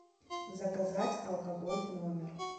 заказать алкоголь в номер